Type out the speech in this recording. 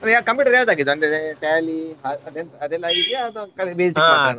ಹಾಗಾದ್ರೆ computer ಯಾವ್ದು ಆಗಿದೆ ಅಂದ್ರೆ Tally ಅದೆಲ್ಲಾ ಆಗಿದ್ಯಾ ಅಥವಾ ಖಾಲಿ Basic ಮಾತ್ರನ?